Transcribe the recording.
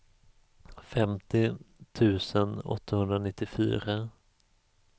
femtio tusen åttahundranittiofyra